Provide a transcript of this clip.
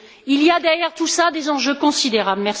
Il y a derrière tout cela des enjeux considérables.